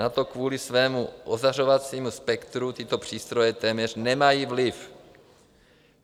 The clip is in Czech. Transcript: Na to kvůli svému ozařovacímu spektru tyto přístroje téměř nemají vliv.